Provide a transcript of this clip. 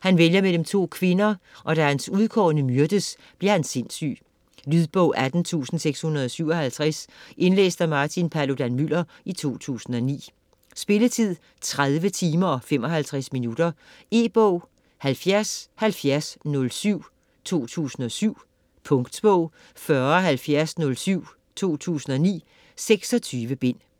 Han vælger mellem to kvinder, og da hans udkårne myrdes, bliver han sindssyg. Lydbog 18657 Indlæst af Martin Paludan-Müller, 2009. Spilletid: 30 timer, 55 minutter. E-bog 707007 2007. Punktbog 407007 2009. 26 bind.